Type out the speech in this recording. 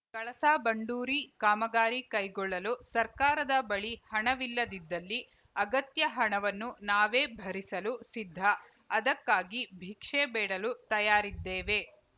ಕಳಸಾಬಂಡೂರಿ ಕಾಮಗಾರಿ ಕೈಗೊಳ್ಳಲು ಸರ್ಕಾರದ ಬಳಿ ಹಣವಿಲ್ಲದಿದ್ದಲ್ಲಿ ಅಗತ್ಯ ಹಣವನ್ನು ನಾವೇ ಭರಿಸಲು ಸಿದ್ಧ ಅದಕ್ಕಾಗಿ ಭಿಕ್ಷೆ ಬೇಡಲು ತಯಾರಿದ್ದೇವೆ